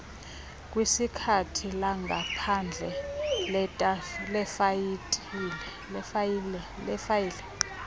kwikhasi langaphandle lefayile